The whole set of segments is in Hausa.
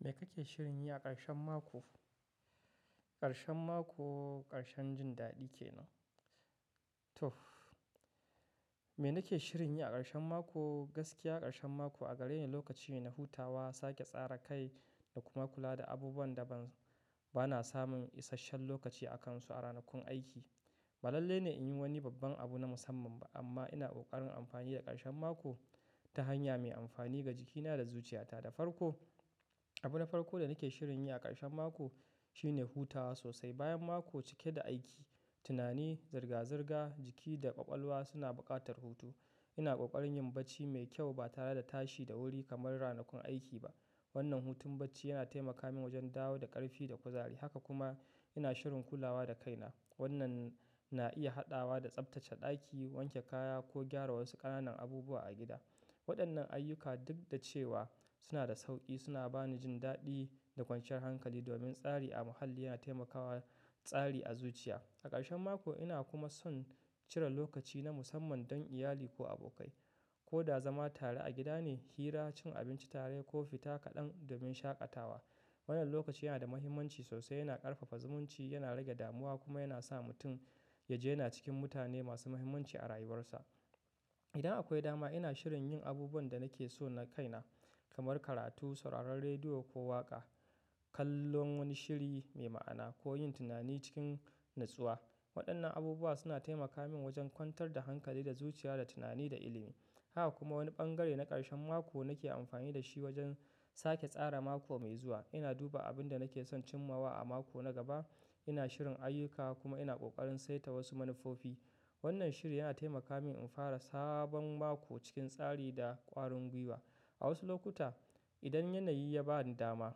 Me kake shirin yi a ƙarshen mako? Ƙarshen mako ƙarshen jin daɗi ke ne? To, me nake shirin yi a ƙarshen mako? Gaskiya ƙarshen mako a gareni lokaci ne na hutawa, sake tsara kai da kuma kula da abubuwan da bana samun isasshen lokaci a kansu a ranakun aiki. Ba lalle ne in yi wani babban abu na musamman ba amma ina ƙoƙarin amfani da ƙarshen mako ta hanya mai amfani ga jikina da zuciyata da farko. Abu na farko da nake shirin yi a ƙarshen mako shine hutawa sosai bayan mako cike da aiki, tunani, zirga-zirga, jiki da ƙwaƙwalwa suna buƙatar hutu. Ina ƙoƙarin yin barci mai kyau ba tare da tashi da wuri kamar ranakun aiki ba. Wannan hutun bacci yana taimaka min wajen dawo da ƙarfi da kuzari. Haka kuma ina shirin kulawa da kaina. Wannan na iya haɗawa da tsaftace ɗaki, wanke kaya ko gyara wasu ƙananan abubuwa a gida. Waɗannan ayyuka duk da cewa suna da sauƙi suna bani jin daɗi da kwanciyar hankali domin tsari a muhalli yana taimakawa tsari a zuciya. A ƙarshen mako ina kuma son cire lokaci na musamman don iyali ko abokai. Ko da zama tare a gida ne, hira, cin abinci tare ko fita kaɗan domin shaƙatawa. Wannan lokaci yana da mahimmanci sosai, yana ƙarfafa zumunci, yana rage damuwa kuma yana sa mutum ya ji yana cikin mutane masu mahimmanci a rayuwarsa. Idan akwai dama ina shirin yin abubuwan da nake so na kaina kamar karatu, sauraron rediyo ko waƙa, kallon wani shiri mai ma'ana ko yin tunani cikin natsuwa. Waɗannan abubuwa suna taimaka min wajen kwantar da hankali da zuciya da tunani da ilimi. Haka kuma wani bangare na ƙarshen mako nake amfani da shi wajen sake tsara mako mai zuwa. Ina duba abin da nake son cimmawa a mako na gaba, ina shirin ayyuka kuma ina ƙoƙarin saita wasu manufofi. Wannan shiri yana taimaka min in fara sabon mako cikin tsari da ƙwarin gwiwa. A wasu lokuta idan yanayi ya bani dama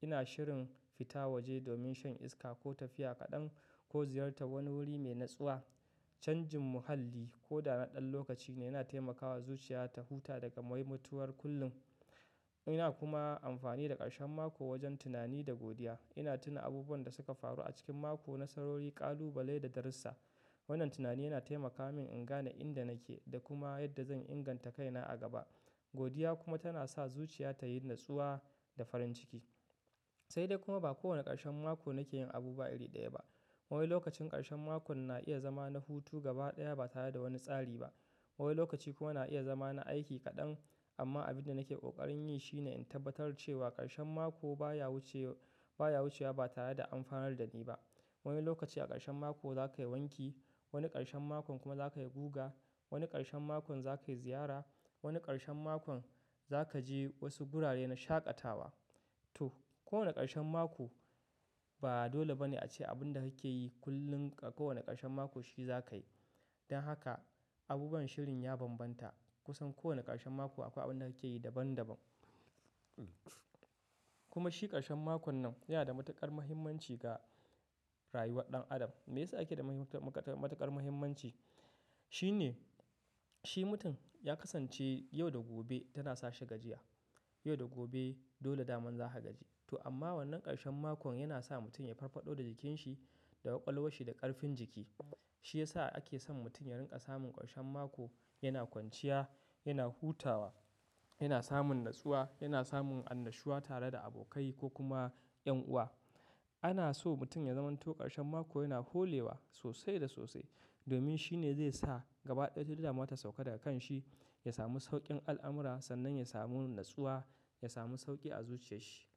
ina shirin fita waje domin shan iska ko tafiya kaɗan ko ziyarta wani wuri mai natsuwa. Canjin muhalli ko da na ɗan lokaci ne yana taimakawa zuciya ta huta daga maimatuwar kullum. Ina kuma amfani da ƙarshen mako wajen tunani da godiya. Ina tuna abubuwan da suka faru a cikin mako na sarori, ƙalubale da darussa. Wannan tunani yana taimaka min in gane inda nake da kuma yadda zan inganta kaina a gaba. Godiya kuma tana sa zuciya tayi natsuwa da farin ciki. Sai dai kuma ba kowane ƙarshen mako nake yin abu iri ɗaya ba. Wani lokacin ƙarshen makon na iya zama na hutu gaba ɗaya ba tare da wani tsari ba. Wani lokaci kuma yana iya zama na aiki kaɗan amma abin da nake ƙoƙarin yi shine in tabbatar cewa ƙarshen mako baya wucewa ba tare da amfanar da ni ba. Wani lokaci a ƙarshen mako za ka yi wanki, wani ƙarshen makon kuma za ka yi guga, wani ƙarshen makon za ka yi ziyara, wani ƙarshen makon za ka je wasu gurare na shaƙatawa. To, kowane ƙarshen mako ba dole ba ne ace abin da kake yi kullum a kowane ƙarshen mako shi za ka yi. Don haka abubuwan shirin ya bambanta kusan kowane ƙarshen mako akwai abin da ake yi daban-daban. Kuma shi ƙarshen makon nan yana da matuƙar muhimmanci ga rayuwar ɗan adam. Me yasa yake da matuƙar muhimmanci? Shi ne shi mutum ya kasance yau da gobe tana sashi gajiya. Yau da gobe dole daman za ka gaji. To amma wannan ƙarshen makon yana sa mutum ya farfaɗo da jikin shi da ƙwaƙwalwashi da ƙarfin jiki. Shi ya sa ake son mutum ya rinƙa samun ƙarshen mako yana kwanciya, yana hutawa, yana samun natsuwa, yana samun annashuwa tare da abokai ko kuma ƴan uwa. Ana so mutum ya zama to ƙarshen mako yana holewa sosai da sosai domin shi ne zai sa gaba ɗaya duk damuwa ta sauka daga kan shi, ya samu sauƙin al'amura sannan ya samu natsuwa, ya samu sauƙi a zuciyar shi.